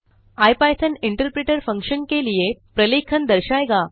IPython interpreter function के लिए प्रलेखन दर्शाएगा